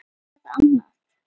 Varð annað.